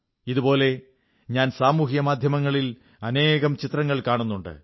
ഇതുപോലെ ഞാൻ സാമൂഹിക മാധ്യമങ്ങളിൽ അനേകം ചിത്രങ്ങൾ കാണുന്നുണ്ട്